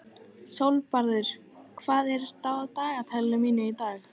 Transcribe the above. Sólbjartur, hvað er á dagatalinu mínu í dag?